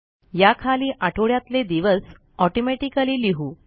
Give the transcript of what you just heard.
या खाली आठवड्यातले दिवस ऑटोमॅटिकली लिहू